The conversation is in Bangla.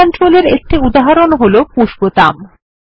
ফরম কন্ট্রোল এর একটি উদাহরণ হল পুশ বোতাম